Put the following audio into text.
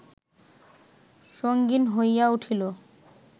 সঙ্গীণ হইয়া উঠিল